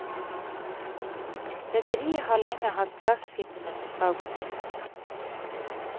Rederiet har lenge hatt gasskipene på salgslisten.